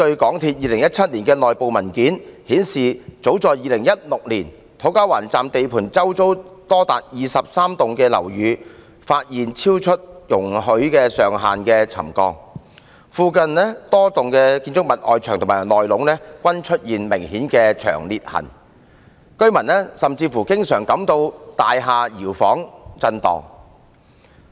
港鐵公司2017年的內部文件顯示，早在2016年便發現土瓜灣站地盤周圍多達23幢樓宇出現超出容許上限的沉降，附近多幢建築物的外牆及內部均出現明顯的長裂痕，居民甚至經常感到大廈搖晃震動。